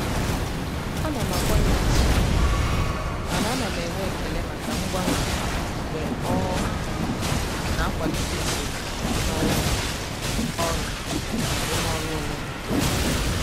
ana m akwanyere usoro ùgwù mana ana m enwe ekele maka mgbanwe mgbe ọ um na-akwalite usoro um ọrụ na arụmọrụ onwe m.